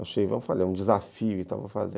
Achei, vamos fazer um desafio e tal para fazer.